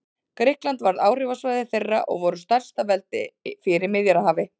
Grikkland varð áhrifasvæði þeirra og þeir voru stærsta veldi fyrir Miðjarðarhafi.